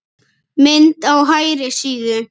Mynd á hægri síðu.